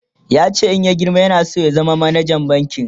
yace in ya girma yana San ya zama manajan banki